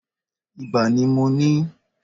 Ibà ni mo ní.